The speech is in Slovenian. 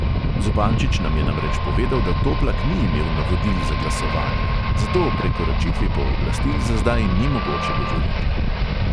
Zupančič nam je namreč povedal, da toplak ni imel navodil za glasovanje, zato o prekoračitvi pooblastil za zdaj ni mogoče govoriti.